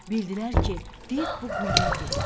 Bildilər ki, div bu quyuya giribdi.